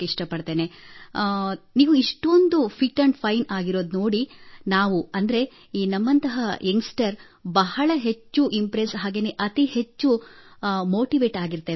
ನಿಮ್ಮ fitness level ನೋಡಿ ತಮ್ಮನ್ನು ಇಷ್ಟೊಂದು ಫಿಟ್ ಆಂಡ್ ಫೈನ್ ನೋಡಿ ನಮ್ಮಂತಹ ಯಂಗ್ಸ್ಟರ್ ಬಹಳ ಹೆಚ್ಚು ಇಂಪ್ರೆಸ್ ಮತ್ತು ಅತಿ ಹೆಚ್ಚು ಮೋಟಿವೇಟ್ ಆಗಿರುತ್ತೇವೆ